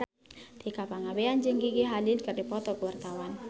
Tika Pangabean jeung Gigi Hadid keur dipoto ku wartawan